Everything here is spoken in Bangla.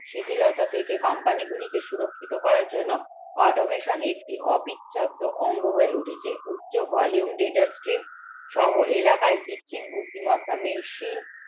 শিথিলতা থেকে company গুলিকে সুরাক্ষিত করার জন্য automation একটি অবিচ্ছেদ্য অঙ্গ হয়ে উঠেছে উচ্চ volume data stream সহ এলাকায় কৃত্রিম বুদ্ধিমত্তা মেশিন